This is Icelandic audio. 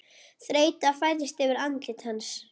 Þreyta færist yfir andlit hans.